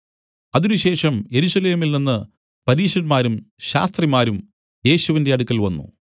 അതിനുശേഷം യെരൂശലേമിൽ നിന്നു പരീശന്മാരും ശാസ്ത്രിമാരും യേശുവിന്റെ അടുക്കൽ വന്നു